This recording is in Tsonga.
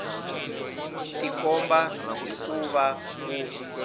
tikomba hi ku va ku